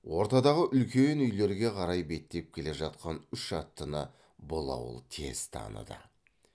ортадағы үлкен үйлерге қарай беттеп келе жатқан үш аттыны бұл ауыл тез таныды